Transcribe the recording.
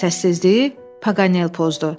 Səssizliyi Paqanel pozdu.